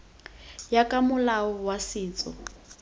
ya ka molao wa setso